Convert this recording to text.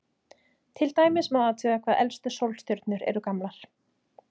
Til dæmis má athuga hvað elstu sólstjörnur eru gamlar.